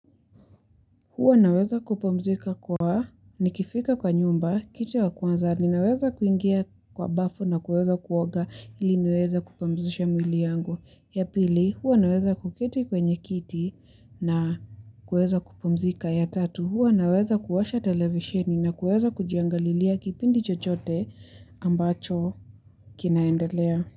Huwa naweza kupumzika kwa nikifika kwa nyumba, kitu ya kwanza, ninaweza kuingia kwa bafu na kuweza kuoga ili niweze kupumzisha mwili yangu. Ya pili huwa naweza kuketi kwenye kiti na kuweza kupumzika, ya tatu huwa naweza kuwasha televisheni na kuweza kujiangalilia kipindi chochote ambacho kinaendelea.